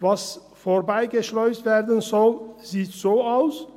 Was vorbeigeschleust werden soll, sieht so aus: